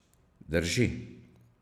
Drži.